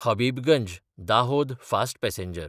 Habibganj-Dahod fast passenger